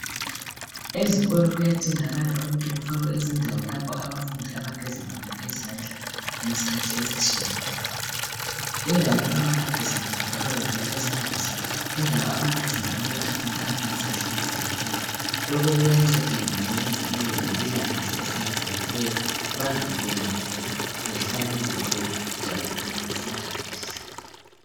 Ezikolo kuyadingakala ukut kufakwe indawo lapho abafundi abageza khona izandla ngezikhathi ezitshiyeneyo indawo lapho abangageza khona loba bevela ezambuzini indawo abageza lokunatha khona amanzi ahlanzekileyo lokho kuyanceda ngoba kuyenza babelempilakahle ehlanzekileyo begagula guli behlale bejabulile befunda kuhle